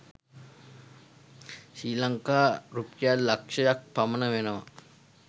ශ්‍රී ලංකා රුපියල් ලක්‍ෂක් පමණ වෙනවා.